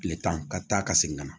Tile tan ka taa ka segin ka na